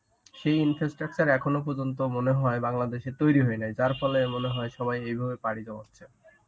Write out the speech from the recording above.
সেই infrastructure এখনো পর্যন্ত মনে হয় বাংলাদেশের তৈরি হয় নাই যার ফলে মনে হয় সবাই এইভাবে পাড়ি জমাচ্ছে.